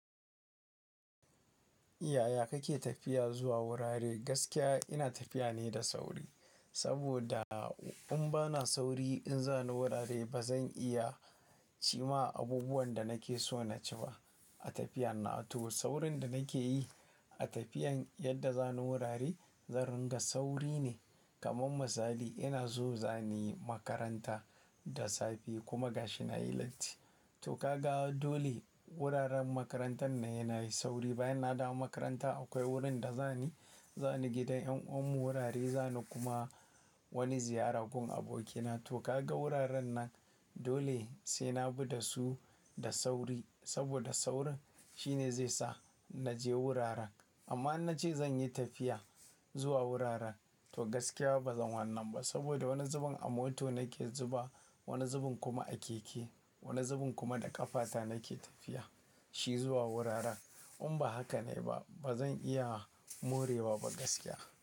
Yaya kake tafiya zuwa wurare? Gaskiya ina tafiya ne da sauri, saboda in ba na sauri in za ni wurare, ba zan iya ci ma abubuwan da nake so na ci ba a tafiyan na. To saurin da nake yi, a tafiyan yadda za ni wurare, zan ringa sauri ne. Kaman misali, ina so za niyi makaranta da safe kuma gashi na yi latti. To ka ga dole wuraren makarantan na sai na yi sauri. Bayan na dawo makaranta akwai wurin da za ni, za ni gidan en uwan mu wurare, za ni kuma wani ziyara gun abokina. To, ka ga wuraren nan dole sai na bi da su da sauri, saboda saurin shine zai sa na je wuraren. Amma in na ce zan yi tafiya, zuwa wuraren to gaskiya ba zan wannan ba. Saboda wani zubin a mota nake zuba, wani zubin kuma a keke, wani zubin kuma da ƙafata nake tafiya, shi zuwa wuraren. In ba haka ne ba, ba zan iya morewa ba gaskiya.